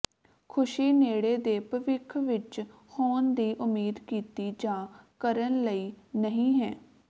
ਖ਼ੁਸ਼ੀ ਨੇੜੇ ਦੇ ਭਵਿੱਖ ਵਿੱਚ ਹੋਣ ਦੀ ਉਮੀਦ ਕੀਤੀ ਜਾ ਕਰਨ ਲਈ ਨਹੀ ਹੈ